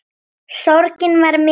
Sorgin var mikil.